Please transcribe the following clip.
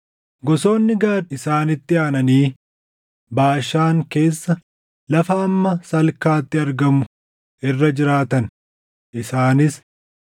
Gosoonni Gaad isaanitti aananii Baashaan keessa lafa hamma Salkaatti argamu irra jiraatan; isaanis: